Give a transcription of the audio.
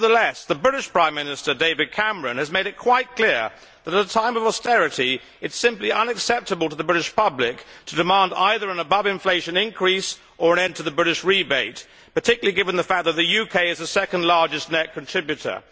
Nevertheless, the British Prime Minister David Cameron has made it quite clear that at a time of austerity it is simply unacceptable to the British public to demand either an above inflation increase or an end to the British rebate, particularly given the fact that the UK is the second largest net contributor.